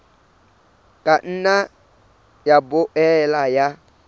ka nna ya boela ya